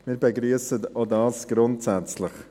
Auch dies begrüssen wir grundsätzlich.